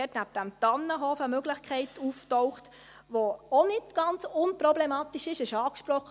Neben dem Tannenhof ist eine Möglichkeit aufgetaucht, die auch nicht ganz unproblematisch ist.